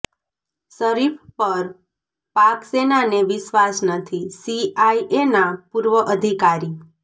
શરીફ પર પાક સેનાને વિશ્વાસ નથીઃ સીઆઈએના પૂર્વ અધિકારી